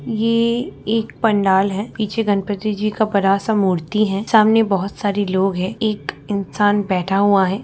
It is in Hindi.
ये एक पंडाल है पीछे गणपति जी का बड़ा-सा मूर्ति है सामने बहुत सारी लोग है एक इंसान बैठा हुआ है।